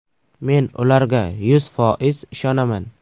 Men ularga yuz foiz ishonaman.